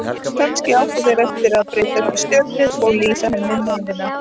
Kannski áttu þeir eftir að breytast í stjörnur og lýsa henni leiðina.